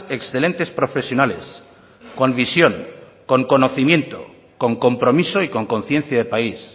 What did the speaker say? excelentes profesionales con visión con conocimiento con compromiso y con conciencia de país